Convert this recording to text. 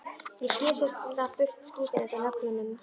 Ég skef seinna burt skítinn undan nöglunum.